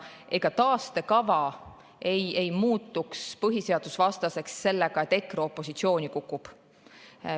Ega taastekava ei muutu põhiseadusvastaseks sellega, kui EKRE opositsiooni kukub.